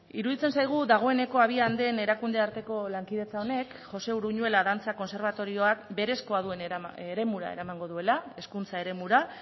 iruditzen zaigu dagoeneko abian den erakunde arteko lankidetza honek josé uruñuela dantza kontserbatorioak berezkoa duen eremura eramango duela hezkuntza eremura